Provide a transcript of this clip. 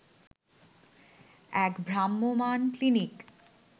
এক ভ্রাম্যমান ক্লিনিক